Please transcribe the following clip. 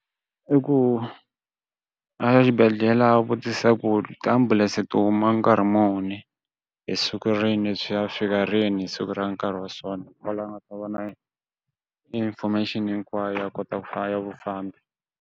I ku a ya xibedhlele a vutisa ku tiambulense to huma nkarhi muni hi siku rin'we byi ya fika rini hi siku ra nkarhi wa sona wa laha u nga ta vona information hinkwayo ya kota ku fa ya vafambi.